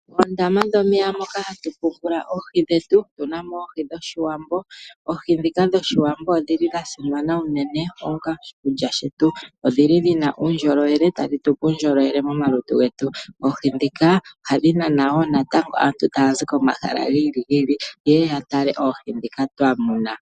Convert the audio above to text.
Oondama dhomeya moka hatu tekula oohi dhetu, otuna mo oohi dhoshiwambo. Oohi dhoka dhoshiwambo odha simana unene onga oshikulya shetu, odhi li dhina uundjolowele no hadhi tupe uundjolowele momalutu getu. Oohi dhika ohadhi nana woo aantu taya zi komahala gi ili nogi ili yeye yatale oohi dhika twa muna.